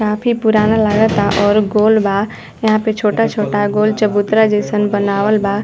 काफी पुराना लागता और गोल बा। यहाँ पे छोटा छोटा गोल चबूतरा जइसन बनावल बा।